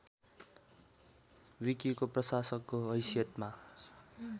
विकिको प्रशासकको हैसियतमा